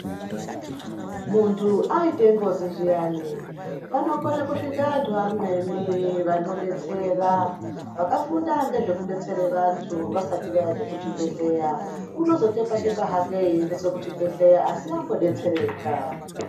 Muntu aite ngozi zviyani panokona kusvika antu amweni vanodetsera, vakafunda ngezvekudetsere vantu vasati vaenda kuchibhedhleya . Unozotekwatekwa hake einda kuchibhedhleya asi ambodetsereka.